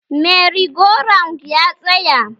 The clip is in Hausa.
Merry-go-round ya tsaya